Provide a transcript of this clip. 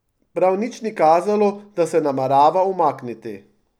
Prav nič ni kazalo, da se namerava umakniti.